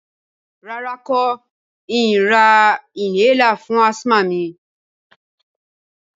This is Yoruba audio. Rárá, n kò ni ra inhaler fún asthma mi